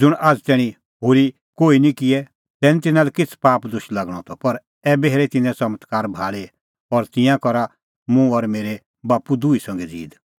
ज़ुंण आझ़ तैणीं होरी कोही निं किऐ तै निं तिन्नां लै किछ़ पाप दोश लागणअ त पर ऐबै हेरै तिन्नैं च़मत्कार भाल़ी और तिंयां करा मुंह और मेरै बाप्पू दुही संघै ज़ीद